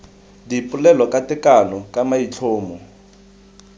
dipolelo ka tekano ka maitlhomo